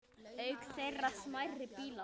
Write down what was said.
Auk þeirra smærri bílar.